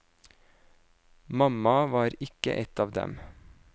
Mamma var ikke et av dem.